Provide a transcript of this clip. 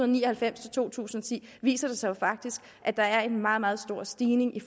ni og halvfems til to tusind og ti viser faktisk at der er en meget meget stor stigning i